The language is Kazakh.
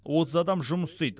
отыз адам жұмыс істейді